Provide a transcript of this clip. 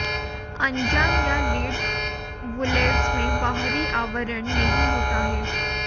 अनजान या lead bullets में बाहरी आवरण नहीं होता है